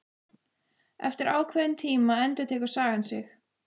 Eftir ákveðinn tíma endurtekur sagan sig.